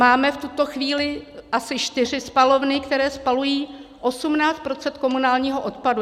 Máme v tuto chvíli asi čtyři spalovny, které spalují 18 % komunálního odpadu.